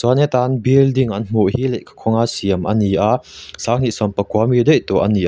heta building an hmuh hi lehkha khawnga an siam a ni a sanghnih sawm pakua a mi daih tawh a ni a.